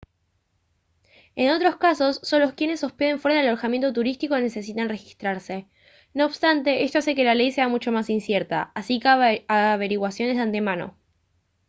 en otros casos solo quienes se hospeden fuera de alojamientos turísticos necesitan registrarse no obstante esto hace que la ley sea mucho más incierta así que haga averiguaciones de antemano